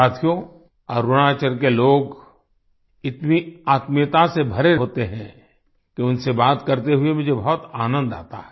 साथियो अरुणाचल के लोग इतनी आत्मीयता से भरे होते हैं कि उनसे बात करते हुए मुझे बहुत आनंद आता है